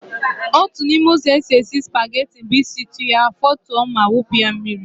Otu n'ime ụzọ esi esi spageti bụ ịsịtụ ya, fotuo ma wụpụ ya mmiri.